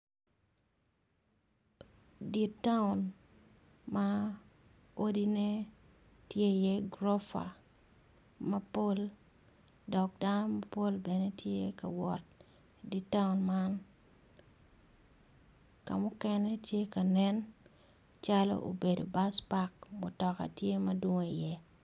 Di taun ma odine tye i ye gorofa mapol dok dano mapol bene tye kawot idi taun man, kam mukene tye kanen calo obedo bac pak mutoka tye madwong iye.